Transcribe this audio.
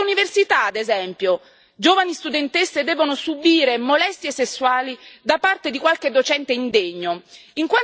In quante università, ad esempio, giovani studentesse devono subire molestie sessuali da parte di qualche docente indegno?